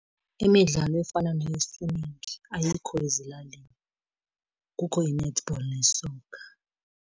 Imidlalo efana neye-swimming ayikho ezilalini, kukho i-netball ne-soccer.